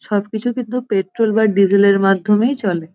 সবকিছু কিন্তু পেট্রোল বা ডিজেল -এর মাধ্যমেই চলে ।